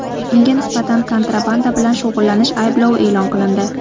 Unga nisbatan kontrabanda bilan shug‘ullanish ayblovi e’lon qilindi.